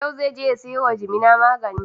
Yau zai je ya sayo wa jimina magani.